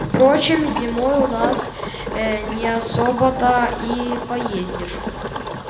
впрочем зимой у нас э не особо-то и поездишь